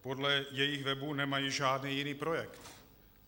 Podle jejich webu nemají žádný jiný projekt.